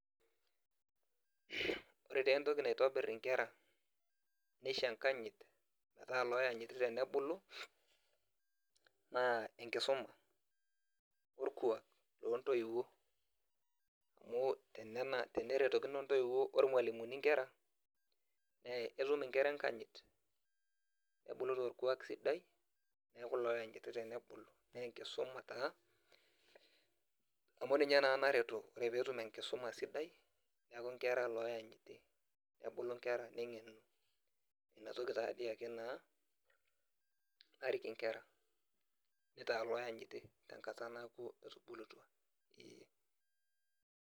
Ore entoki naitobir nkera nisho enkanyit oloanyiti tenebulu na enkisuma orkuak ontoiwuo enyenak ntoiwuo ormalimuni onkera etum nkera enkanyit nebulu torkuwak sidai amu ninye naa naretu ore peetum enkisuma sidai nkera loanyiti nebulu nkera inatoki naake narik nkera netau loanyiti tenkata nabo eeh.